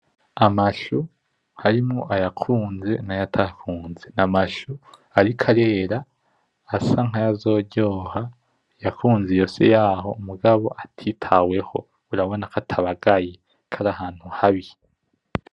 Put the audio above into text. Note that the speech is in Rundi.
Amashu harimwo ayakunze nayatakunze , amashu ariko arera asa nkayazoryoha , yakunze iyo si yaho mugabo atitaweho Urabona ko atabagaye karahantu habi .